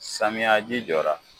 Samiyaji jɔra.